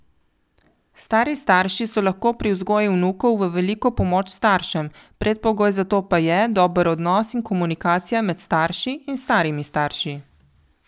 Stari starši so lahko pri vzgoji vnukov v veliko pomoč staršem, predpogoj za to pa je dober odnos in komunikacija med starši in starimi starši.